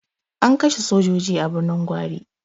An kashe sojoji a Birnin Gwari.